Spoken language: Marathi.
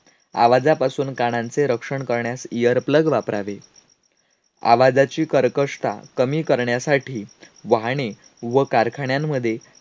आवाजापासून कानांचे रक्षण करण्यास earplug वापरावे. आवाजाची कर्कशता कमी करण्यासाठी वाहने व कारखान्यांमध्ये